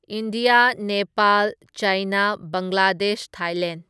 India, Nepal, China, Bangladesh, Thailand